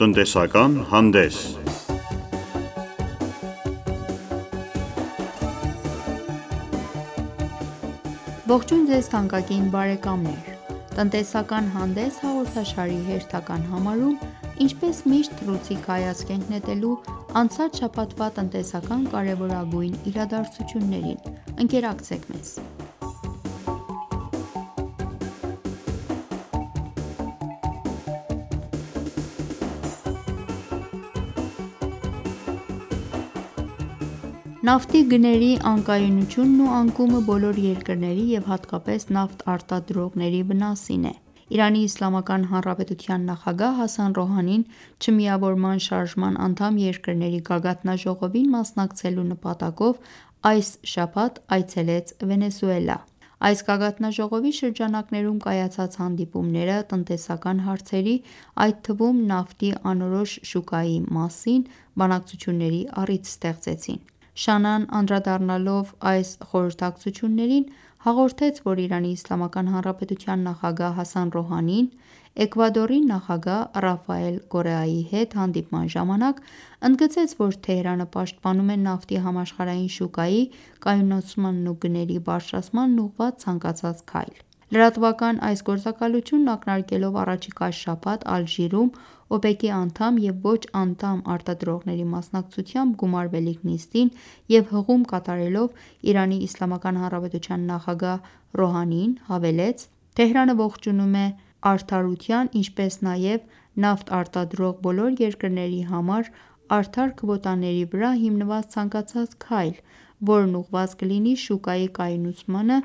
Տնտեսական հանդես Ողջույն Ձեզ թանկագին բարեկամներ: «Տնտեսական հանդես» հաղորդաշարի հերթական համարում ինչպես միշտ թռուցիկ հայացք ենք նետելու անցած շաբաթվա տնտեսական կարևորագույն իրադարձություններին: Ընկերակցեք մեզ: Նավթի գների անկայունությունն ու անկումը բոլոր երկրների և հատկապես նավթ արտադրողների վնասին է: ԻԻՀ նախագահ Հասան Ռոհանին Չմիավորման շարժման անդամ երկրների գագաթնաժողովին մասնակցելու նպատակով այս շաբաթ այցելեց Վենեսուելա: Այս գագաթնաժողովի շրջանակներում կայացած հանդիպումները տնտեսական հարցերի, այդ թվում նավթի անորոշ շուկայի մասին բանակցությունների առիթ ստեղծեցին: ՇԱՆԱ-ն անդրադառնալով այս խորհրդակցություններին հաղորդեց, որ ԻԻՀ նախագահ Հասան Ռոհանին Էկվադորի նախագահ Ռաֆայել Կորեայի հետ հանդիպման ժամանակ ընդգծեց, որ Թեհրանը պաշտպանում է նավթի համաշխարհային շուկայի կայունացմանն ու գների բարձրացմանն ուղղված ցանկացած քայլ: Լրատվական այս գործակալությունն ակնարկելով առաջիկա շաբաթ Ալժիրում ՕՊԵԿ-ի անդամ և ոչ-անդամ արտադրողների մասնակցությամբ գումարվելիք նիստին և հղում կատարելով ԻԻՀ նախագահ Ռոհանիին հավելեց. «Թեհրանը ողջունում է արդարության, ինչպես նաև նավթ արտադրող բոլոր երկրների համար արդար քվոտաների վրա հիմնված ցանկացած քայլ, որն ուղղված կլինի շուկայի կայունացմանը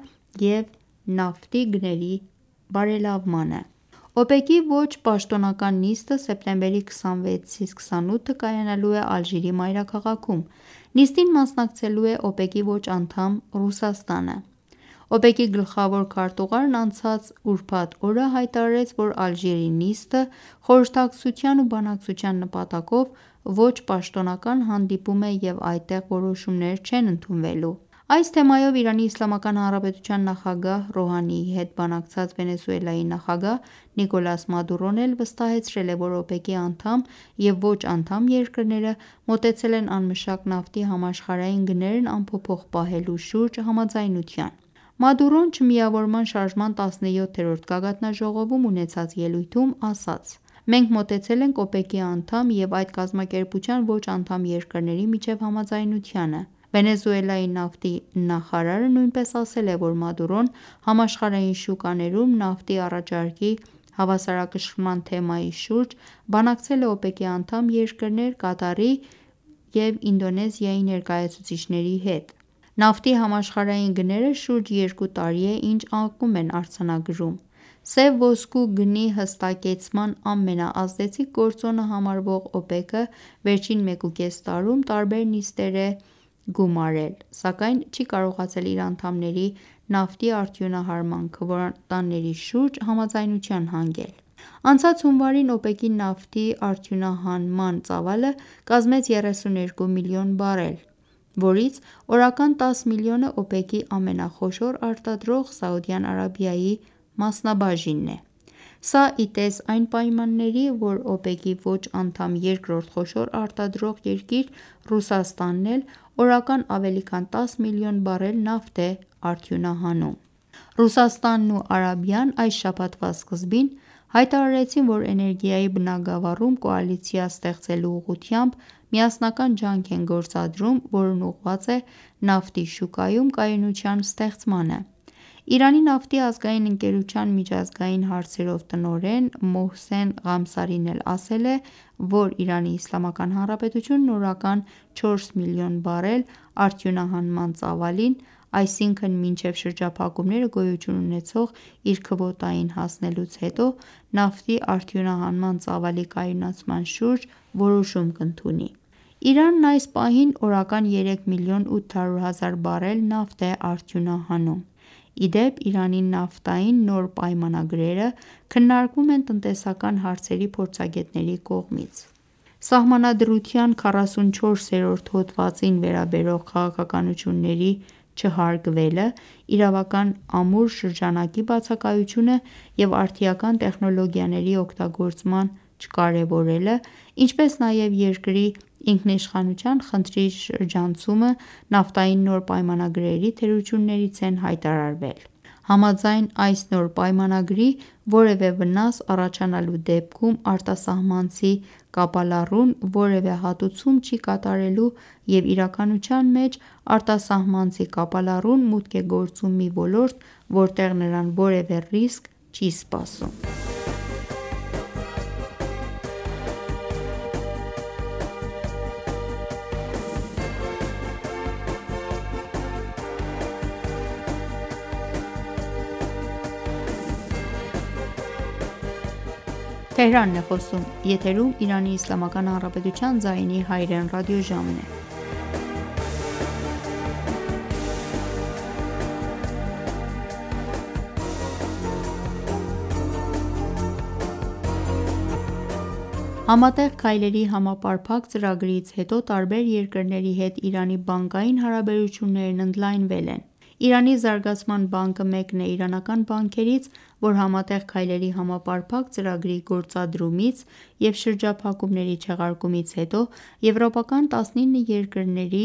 և նավթի գների բարելավմանը»: ՕՊԵԿ-ի ոչ-պաշտոնական նիստը սեպտեմբերի 26-ի 28-ը կայանալու է Ալժիրի մայրաքաղաքում: Նիստին մասնակցելու է ՕՊԵԿ-ի ոչ-անդամ Ռուսաստանը: ՕՊԵԿ-ի գլխավոր քարտուղարն անցած ուրբաթ օրը հայտարարեց, որ Ալժիրի նիստը խորհրդակցության ու բանակցության նպատակով ոչ-պաշտոնական հանդիպում է և այդտեղ որոշումներ չեն ընդունվելու: Այս թեմայով ԻԻՀ նախագահի Ռոհանիի հետ բանակցած Վենեսուելայի նախագահ Նիկոլաս Մադուրոն էլ վստահեցրել է, որ ՕՊԵԿ-ի անդամ և ոչ-անդամ երկրները մոտեցել են անմշակ նավթի համաշխարհային գներն անփոփոխ պահելու շուրջ համաձայնության: Մադուրոն Չմիավորման շարժման 17-րդ գագաթնաժողովում ունեցած ելույթում, ասաց. «Մենք մոտեցել ենք ՕՊԵԿ-ի անդամ և այդ կազմակերպության ոչ-անդամ երկրների միջև համաձայնությանը: Վենեսուելայի նավթի նախարար Օլգիո Դել Փինոն նույնպես ասել է, որ Մադուրոն համաշխարհային շուկաներում նավթի առաջարկի հավասարակշռման թեմայի շուրջ բանակցել է ՕՊԵԿ-ի անդամ երկրներ՝ Կատարի ու Ինդոնեզիայի ներկայացուցիչների հետ: Նավթի համաշխարհային գները շուրջ երկու տարի է ինչ անկում են արձանագրում: Սև ոսկու գնի հստակեցման ամենաազդեցիկ գործոնը համարվող ՕՊԵԿ-ը վերջին 1.5 տարում տարբեր նիստեր է գումարել, սակայն չի կարողացել իր անդամների նավթի արդյունահանման քվոտաների շուրջ համաձայնության հանգել: Անցած հունվարին ՕՊԵԿ-ի նավթի արդյունահանման ծավալը կազմեց 32 միլիոն բարել, որից օրական 10 միլիոնը ՕՊԵԿ-ի ամենախոշոր արտադրող՝ Սաուդյան Արաբիայի մասնաբաժինն է: Սա ի տես այն պայմանների, որ ՕՊԵԿ-ի ոչ-անդամ երկրորդ խոշոր արտադրող երկիր՝ Ռուսաստանն էլ օրական ավելի քան 10 միլիոն բարել նավթ է արդյունահանում: Ռուսաստանն ու Արաբիան այս շաբաթվա սկզբին հայտարարեցին, որ էներգիայի բնագավառում կոալիցիա ստեղծելու ուղղությամբ միասնական ջանք են գործադրում, որն ուղղված է նավթի շուկայում կայունության ստեղծմանը: Իրանի նավթի ազգային ընկերության միջազգային հարցերով տնօրեն Մոհսեն Ղամսարին էլ ասել է, որ ԻԻՀ-ն օրական 4 միլիոն բարել արդյունահանման ծավալին, այսինքն մինչև շրջափակումները գոյություն ունեցող իր քվոտային հասնելուց հետո, նավթի արդյունահանման ծավալի կայունացման շուրջ որոշում կընդունի: Իրանն ներկայումս օրական 3 միլիոն 800 հազար բարել նավթ է արդյունահանում: Ի դեպ Իրանի նավթային նոր պայմանագրերը քննարկվում են տնտեսական հարցերի փորձագետների կողմից: Սահմանադրության 44-րդ հոդվածին վերաբերող քաղաքականությունների չհարգվելը, իրավական ամուր շրջանակի բացակայությունը և արդիական տեխնոլոգիաների օգտագործման չկարևորելը, ինչպես նաև երկրի ինքնիշխանության խնդրի շրջանցումը նավթային նոր պայմանագրերի թերություններից են հայտարարվել: Համաձայն այս նոր պայմանագրի որևէ վնաս առաջանալու դեպքում արտասահմանցի կապալառուն որևէ հատուցում չի կատարելու և իրականության մեջ արտասահմանցի կապալառուն մուտք է գործում մի ոլորտ, որտեղ նրան որևէ ռիսկ չի սպառնում: Համատեղ քայլերի համապարփակ ծրագրից հետո տարբեր երկրների հետ Իրանի բանկային հարաբերություններն ընդլայնվել են: Իրանի Զարգացման բանկն մեկն է իրանական բանկերից, որ Համատեղ քայլերի համապարփակ ծրագրի գործադրումից և շրջափակումների չեղարկումից հետո եվրոպական 19 երկրների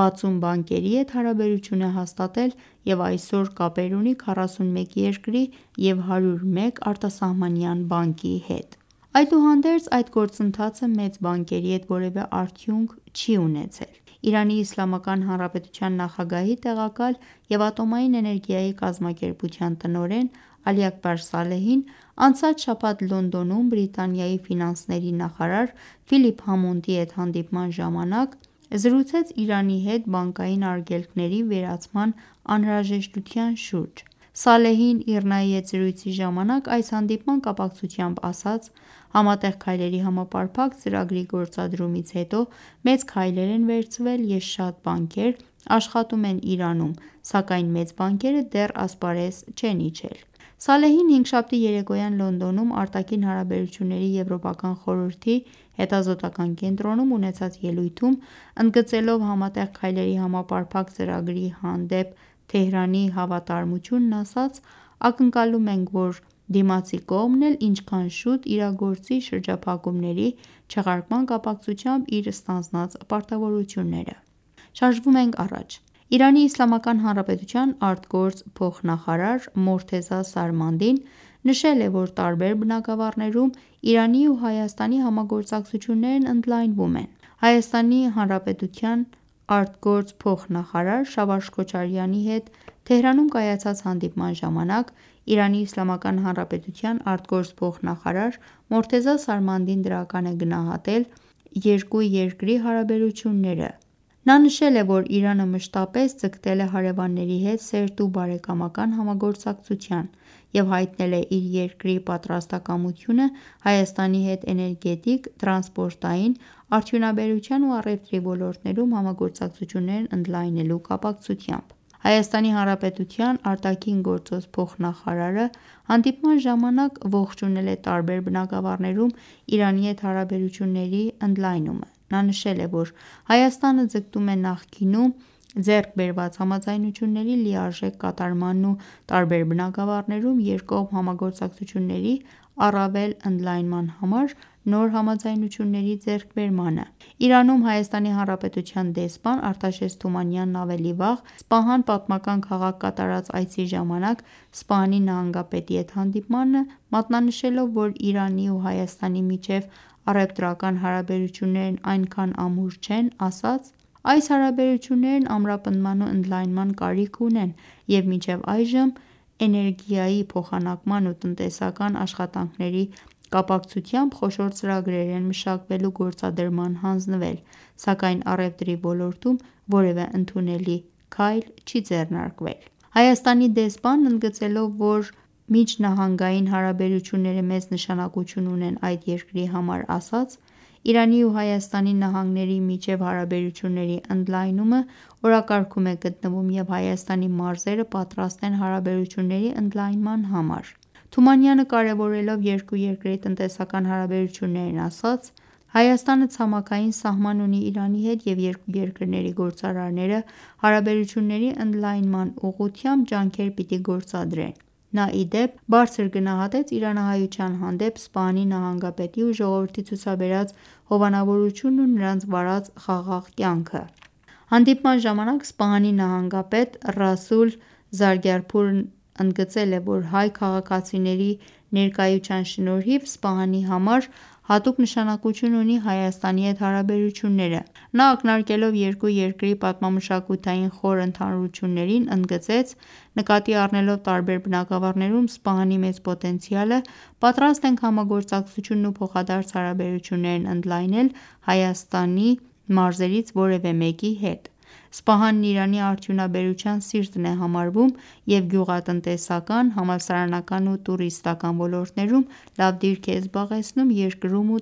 60 բանկերի հետ հարաբերություն է հաստատել և այսօր կապեր ունի 41 երկրի և 101 արտասահմանյան բանկի հետ: Այդուհանդերձ այդ գործընթացը մեծ բանկերի հետ որևէ արդյունք չի ունեցել: ԻԻՀ նախագահի տեղակալ և Ատոմային էներգիայի կազմակերպության տնօրեն Ալի Աքբար Սալեհին անցած շաբաթ Լոնդոնում Բրիտանիայի ֆինանսների նախարար Ֆիլիպ Համոնդի հետ հանդիպման ժամանակ զրուցեց Իրանի հետ բանկային արգելքների վերացման անհրաժեշտության շուրջ: Սալեհին ԻՌՆԱ-ի հետ զրույցի ժամանակ այս հանդիպման կապակցությամբ ասաց. «Համատեղ քայլերի համապարփակ ծրագրի գործադրումից հետո մեծ քայլեր են վերցվել և շատ բանկեր աշխատում են Իրանում, սակայն մեծ բանկերը դեռ ասպարեզ չեն իջել»: Սալեհին հինգշաբթի երեկոյան Լոնդոնում արտաքին հարաբերությունների եվրոպական խորհրդի հետազոտական կենտրոնում ունեցած ելույթում ընդգծելով Համատեղ քայլերի համապարփակ ծրագրի հանդեպ Թեհրանի հավատարմությունն, ասաց. «Ակնկալում ենք, որ դիմացի կողմն էլ ինչքան շուտ իրագործի շրջափակումների չեղարկման կապակցությամբ իր ստանձնած պարտավորությունները: ԻԻՀ ԱԳ փոխնախարար Մոռթեզա Սարմանդին նշել է, որ տարբեր բնագավառներում Իրանի ու Հայաստանի համագործակցություններն ընդլայնվում են: ՀՀ ԱԳ փոխնախարար Շավարշ Քոչարյանի հետ Թեհրանում կայացած հանդիպման ժամանակ ԻԻՀ ԱԳ փոխնախարար Մոռթեզա Սարմադին դրական է գնահատել երկու երկրի հարաբերությունները: Նա նշել է, որ Իրանը մշտապես ձգտել է հարևանների հետ սերտ ու բարեկամական համագործակցության և հայտնել է իր երկրի պատրաստակամությունը` Հայաստանի հետ էներգետիկ, տրանսպորտային, արդյունաբերության ու առևտրի ոլորտներում համագործակցություններն ընդլայնելու կապակցությամբ: ՀՀ ԱԳ փոխնախարարը հանդիպման ժամանակ ողջունել է տարբեր բնագավառներում Իրանի հետ հարաբերությունների ընդլայնում: Նա նշել է, որ Հայաստանը ձգտում է նախկինում ձեռք բերված համաձայնությունների լիարժեք կատարմանն ու տարբեր բնագավառներում երկկողմ համագործակցությունների առավել ընդլայնման համար նոր համաձայնությունների ձեռքբերմանը: Իրանում ՀՀ դեսպան Արտաշես Թումանյանն ավելի վաղ Սպահան պատմական քաղաք կատարած այցի ժամանակ Սպահանի նահանգապետի հետ հանդիպման ժամանակ մատնանշելով, որ Իրանի ու Հայաստանի միջև առևտրական հարաբերություններն այնքան ամուր չեն, ասաց. «Այս հարաբերություններն ամրապնդման ու ընդլայնման կարիք ունեն և մինչև այժմ էներգիայի փոխանակման ու տնտեսական աշխատանքների կապակցությամբ խոշոր ծրագրեր են մշակվել ու գործադրման հանձնվել, սակայն առևտրի ոլորտում որևէ ընդունելի քայլ չի ձեռնարկվել»: Հայաստանի դեսպանն ընդգծելով, որ միջնահանգային հարաբերությունները մեծ նշանակություն ունեն այդ երկրի համար, ասաց. «Իրանի ու Հայաստանի նահանգների միջև հարաբերությունների ընդլայնումը օրակարգում է գտնվում և Հայաստանի մարզերը պատրաստ են հարաբերությունների ընդլայնման համար»: Թումանյանը կարևորելով երկու երկրի տնտեսական հարաբերություններն ասաց. «Հայաստանը ցամաքային սահման ունի Իրանի հետ և երկու երկրների գործարարները հարաբերությունների ընդլայնման ուղղությամբ ջանքեր պիտի գործադրեն»: Նա ի դեպ, բարձր գնահատեց իրանահայության հանդեպ Սպահանի նահանգապետի ու ժողովրդի ցուցաբերած հովանավորությունն ու նրանց վարած խաղաղ կյանքը: Հանդիպման ժամանակ Սպահանի նահանգապետ Ռասուլ Զարգարփուրն էլ ընդգծել էր, որ հայ քաղաքացիների ներկայության շնորհիվ Սպահանի համար հատուկ նշանակություն ունի Հայաստանի հետ հարաբերությունները: Նա ակնարկելով երկու երկրի պատմա-մշակութային խոր ընդհանրություններին, ընդգծեց. «Նկատի առնելով տարբեր բնագավառներում Սպահանի մեծ պոտենցիալը պատրաստ ենք համագործակցությունն ու փոխադարձ հարաբերություններն ընդլայնել Հայաստանի մարզերից որևէ մեկի հետ»: Սպահանն Իրանի արդյունաբերության սիրտն է համարվում և գյուղատնտեսական, համալսարանական ու տուրիստական ոլորտներում լավ դիրք է զբաղեցնում երկրում ու